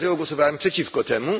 Dlatego głosowałem przeciwko temu.